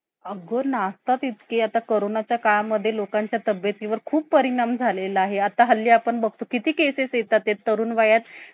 अग नाचतात इतके आता करोनाच्या काळा मध्ये लोकांच्या तब्येतीवर खूप परिणाम झालेला आहे. आता हल्ली आपण बघतो किती केसेस येतात ते तरुण वयात